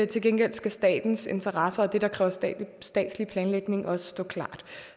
til gengæld skal statens interesser og det der kræver statslig statslig planlægning også stå klart